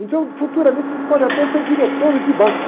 Então, futuramente, vocês podem até ser diretores de banco.